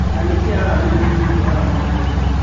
Na nĩkĩ arama ĩno ĩtuĩtwo arama ya rũmena